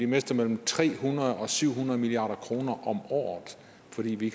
mister mellem tre hundrede og syv hundrede milliard kroner om året fordi vi